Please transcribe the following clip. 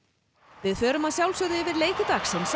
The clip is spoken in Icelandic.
við förum yfir leiki dagsins á